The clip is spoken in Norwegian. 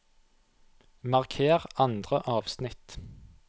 Marker andre avsnitt